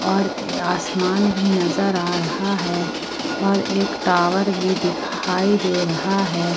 और आसमान भी नजर आ रहा है और एक टावर भी दिखाई दे रहा है।